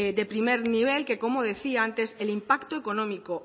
de primer nivel que como decía antes el impacto económico